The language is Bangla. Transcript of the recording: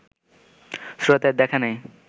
স্রোতের দেখা নেই